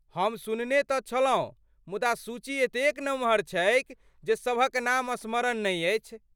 हम सुनने तँ छलहुँ मुदा सूची एतेक नमहर छैक जे सभक नाम स्मरण नहि अछि।